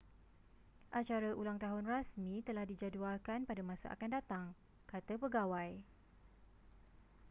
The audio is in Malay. acara ulang tahun rasmi telah dijadualkan pada masa akan datang kata pegawai